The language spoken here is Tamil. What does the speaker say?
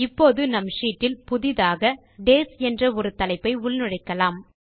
இப்போது நம் ஷீட்டில் புதியதாக டேஸ் என்ற ஒரு தலைப்பை உள்நுழைக்கலாம்